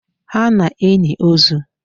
Ha na enyi ozuu